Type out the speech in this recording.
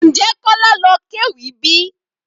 Ǹjẹ́ Kola ló kéwì bíi?